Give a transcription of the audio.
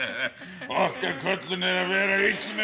okkar köllun er að vera illmenni